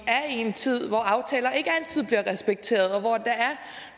en tid hvor aftaler ikke altid bliver respekteret og